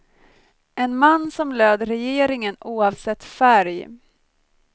En man som löd regeringen oavsett färg.